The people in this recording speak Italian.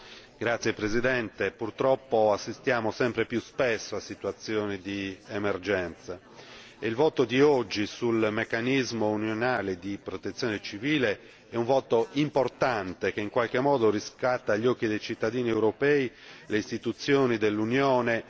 Signor Presidente, onorevoli colleghi, purtroppo assistiamo sempre più spesso a situazioni di emergenza e il voto di oggi sul meccanismo unionale di protezione civile è un voto importante, che in qualche modo riscatta agli occhi dei cittadini europei le istituzioni dell'Unione